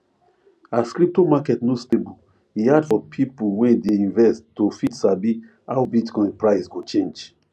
as crypto market no stable e hard for people wey dey invest to fit sabi how bitcoin price go change